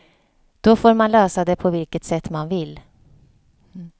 Då får man lösa det på vilket sätt man vill.